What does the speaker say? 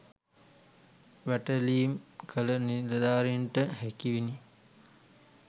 වැටලීම් කළ නිලධාරීන්ට හැකිවිනි